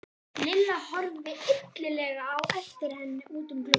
Lilla horfði illilega á eftir henni út um gluggann.